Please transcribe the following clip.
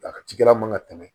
A ka cikɛla man ka tɛmɛ